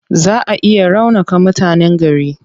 Zaa a iya raunaka mutanen gari.